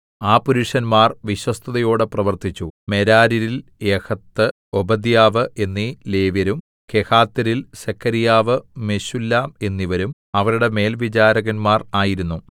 ആ പുരുഷന്മാർ വിശ്വസ്തതയോടെ പ്രവർത്തിച്ചു മെരാര്യരിൽ യഹത്ത് ഓബദ്യാവ് എന്നീ ലേവ്യരും കെഹാത്യരിൽ സെഖര്യാവ് മെശുല്ലാം എന്നിവരും അവരുടെ മേൽവിചാരകന്മാർ ആയിരുന്നു